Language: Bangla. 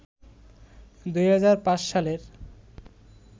২০০৫ সালের